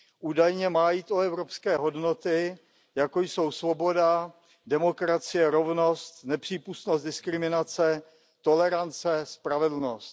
Údajně má jít o evropské hodnoty, jako jsou svoboda, demokracie, rovnost, nepřípustnost diskriminace, tolerance, spravedlnost.